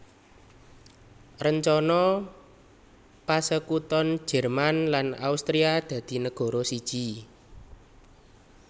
Rencana pasekuton Jerman lan Austria dadi negara siji